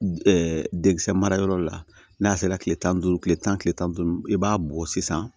denkisɛ marayɔrɔ la n'a sera tile tan ni duuru kile tan ni tan ni duuru i b'a bɔ sisan